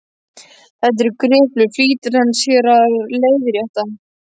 Þetta eru griplur, flýtir mamma sér að leiðrétta.